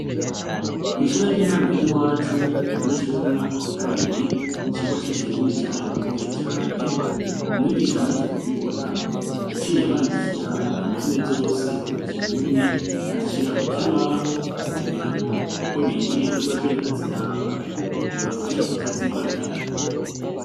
Kw'ishure ry'intangu ry'i wacu, abanyeshuri b'u mwaka wa kabiri icirwa c'ikirundi carabagoye cane, umwigisha amaze kubibona yaciye abandikira indome zose mu kirundi, azishira ku kibaho kugira ngo uko binjiye bazoje baraziraba bibafashe kutazibagira.